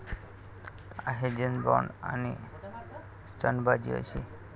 आहे जेम्स बॉन्ड...आणि स्टंटबाजी अशी?